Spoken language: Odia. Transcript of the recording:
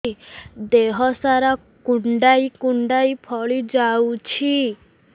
ଦେହ ସାରା କୁଣ୍ଡାଇ କୁଣ୍ଡାଇ ଫଳି ଯାଉଛି